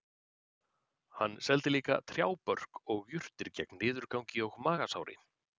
Hann seldi líka trjábörk og jurtir gegn niðurgangi og magasári